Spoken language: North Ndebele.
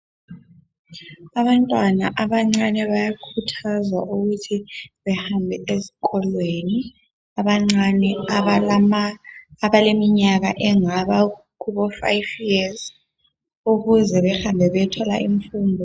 Abantwana abancane bayakhuthazwa ukuthi behambe ezikolweni .Abancane abalama ,abaleminyaka engaba kubo fayifi yezi .Ukuze behambe beyethola infundo.